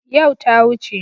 Yau ta wuce.